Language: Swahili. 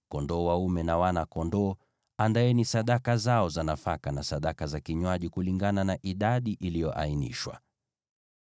Pamoja na mafahali, kondoo dume, na wana-kondoo, andaeni sadaka zao za nafaka na sadaka za vinywaji, kulingana na idadi iliyoainishwa.